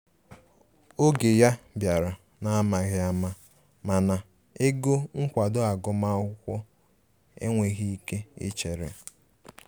Oge ya biara n'amaghi ama, mana ego nkwado agum akwụkwọ enweghi ike ichere.